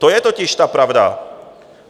To je totiž ta pravda.